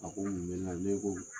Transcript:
A ko mun bɛ n na ne ko